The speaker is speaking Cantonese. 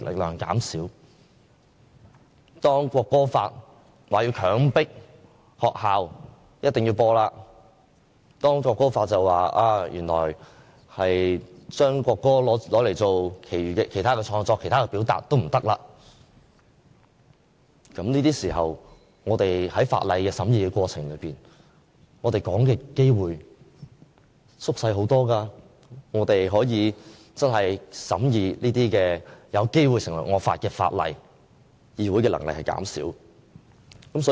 如果將來《國歌法》強迫學校必須播放國歌，禁止用國歌作其他創作和表達，而我們在法案的審議過程中的發言機會減少了，便等於議會可以審議這些有機會成為惡法的法案的能力減少。